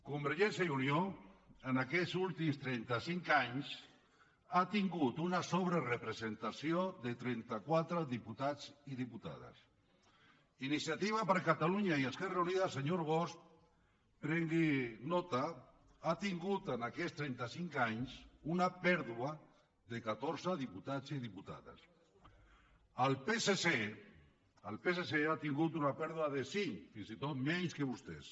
convergència i unió en aquests últims trenta cinc anys ha tingut una sobrerepresentació de trenta quatre diputats i diputades iniciativa per catalunya i esquerra unida senyor bosch prengui’n nota ha tingut en aquests trenta cinc anys una pèrdua de catorze diputats i diputades el psc el psc ha tingut una pèrdua de cinc fins i tot menys que vostès